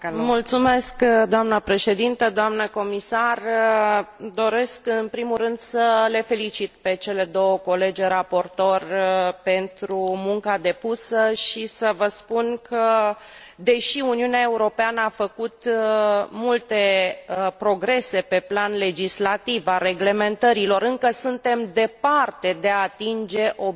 Doresc, în primul rând, să le felicit pe cele două colege raportoare pentru munca depusă și să vă spun că, deși Uniunea Europeană a făcut multe progrese pe plan legislativ, al reglementărilor, încă suntem departe de a atinge obiectivul privind egalitatea de gen între bărbați și femei.